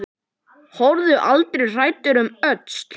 Horfðu aldrei hræddur um öxl!